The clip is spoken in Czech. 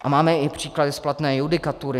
A máme i příklady z platné judikatury.